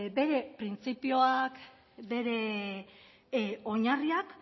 bere printzipioak bere oinarriak